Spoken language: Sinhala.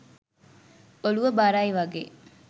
ඔලුව බරයි වගේ.